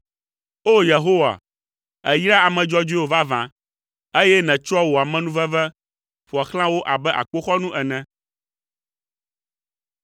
O! Yehowa, èyraa ame dzɔdzɔewo vavã, eye nètsɔa wò amenuveve ƒoa xlã wo abe akpoxɔnu ene.